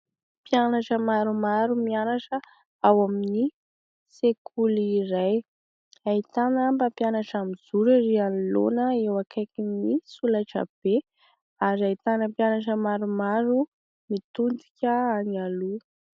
Mpianatra maromaro mianatra ao amin'ny sekoly iray, ahitana mpampianatra miijoro ery anoloana eo akaikin'ny solaitra be, ary ahitana mpianatra maromaro mitodika any aloha.